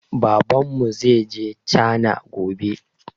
Babanmu zaije cana gobe